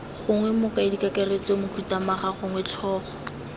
gongwe mokaedikakaretso mokhuduthamaga gongwe tlhogo